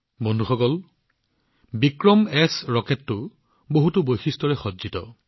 বন্ধুসকল বিক্ৰমএছ ৰকেট বহুতো বৈশিষ্ট্যৰে সজ্জিত